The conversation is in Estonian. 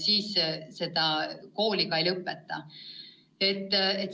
siis laps põhikooli ei lõpeta.